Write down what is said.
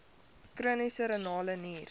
chroniese renale nier